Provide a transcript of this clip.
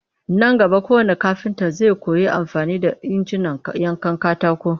Nan gaba kowannn kafinta zai koyi amfani da injinan yankan katako